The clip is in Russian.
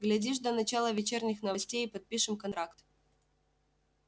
глядишь до начала вечерних новостей и подпишем контракт